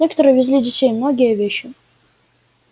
некоторые везли детей многие вещи